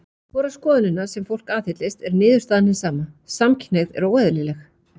Hvora skoðunina sem fólk aðhyllist er niðurstaðan hin sama: Samkynhneigð er óeðlileg.